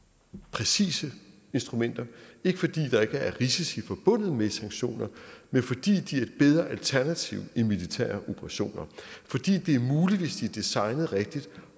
præcise instrumenter ikke fordi der ikke er risici forbundet med sanktioner men fordi de er bedre alternativ end militære operationer og fordi det er muligt hvis de er designet rigtigt